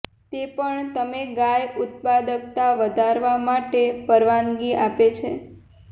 તે પણ તમે ગાય ઉત્પાદકતા વધારવા માટે પરવાનગી આપે છે